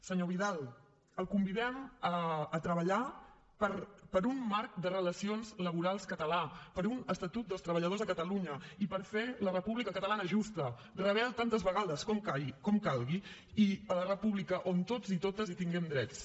senyor vidal el convidem a treballar per un marc de relacions laborals català per un estatut dels treballadors a catalunya i per fer la república catalana justa rebel tantes vegades com calgui i la república on tots i totes hi tinguem drets